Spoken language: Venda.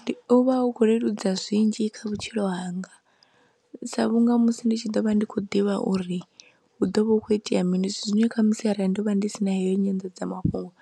Ndi u vha hu khou leludza zwinzhi kha vhutshilo hanga, sa vhunga musi ndi tshi ḓo vha ndi khou ḓivha uri hu ḓo vha hu kho itea mini, zwithu zwine khamusi arali ndo vha ndi si na heyo nyanḓadzamafhungo